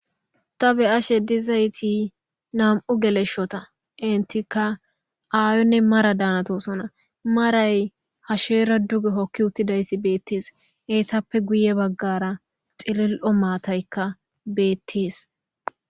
Ta beyashe dizayti nam'u geleshota entiaka aayonne mara danitosona, maray hashera duge hoki utidaysi betesi . Eetappe guye bagara cilil'o matayka beetesi.